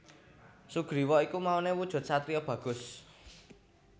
Sugriwa iku maune wujud satriya bagus